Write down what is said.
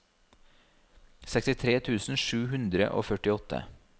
sekstitre tusen sju hundre og førtiåtte